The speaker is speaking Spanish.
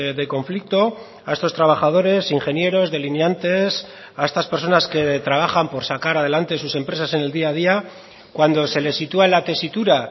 de conflicto a estos trabajadores ingenieros delineantes a estas personas que trabajan por sacar adelante sus empresas en el día a día cuando se les sitúa en la tesitura